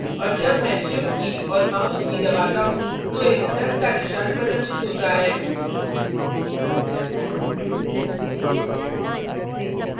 और जब मैं shift की key और mouse की key दबाता हूँ तो एक plus का निशान प्रदर्शित होता है